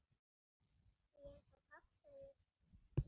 Því eins og Páll segir